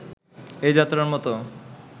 এ-যাত্রার মতো